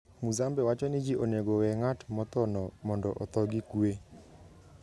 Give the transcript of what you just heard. Muzambe wacho ni ji onego owe ng'at mothono mondo otho gi kuwe.